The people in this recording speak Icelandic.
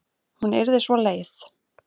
Hún yrði svo leið.